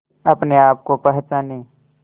अपने आप को पहचाने